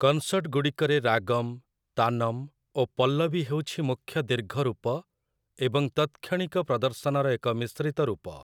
କନସର୍ଟଗୁଡ଼ିକରେ ରାଗମ୍, ତାନମ୍ ଓ ପଲ୍ଲବୀ ହେଉଛି ମୁଖ୍ୟ ଦୀର୍ଘ ରୂପ, ଏବଂ ତତ୍‌କ୍ଷଣିକ ପ୍ରଦର୍ଶନର ଏକ ମିଶ୍ରିତ ରୂପ ।